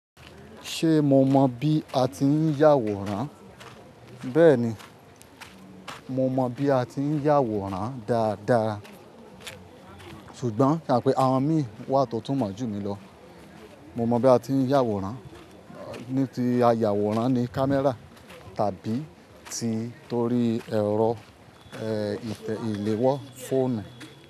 Ṣe mo mọ bi a ti ń yàwòrán? Bẹ́ẹ̀ni, mo mọ bi a ti ń yàwòrán dáadáa. Ṣùgbọ́n, kàpẹẹ, àwọn mí wà tó tún mọ̀ jù mí lọ. Mo mọ bí a ti ń yàwòrán ní ti ayàwòrán ní camera tàbí ti torí ẹ̀rọ, ìtẹ́ ìléwọ́ fóònù.